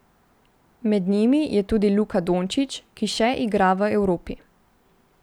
Med njimi tudi Luka Dončić, ki še igra v Evropi.